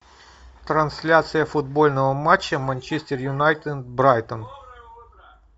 трансляция футбольного матча манчестер юнайтед брайтон